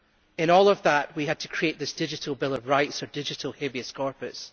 in all of that we had to create this digital bill of rights or digital habeus corpus.